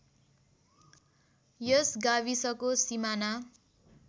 यस गाविसको सिमाना